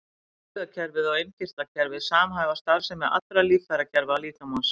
Taugakerfið og innkirtlakerfið samhæfa starfsemi allra líffærakerfa líkamans.